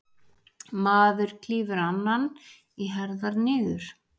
Maður klýfur annan í herðar niður.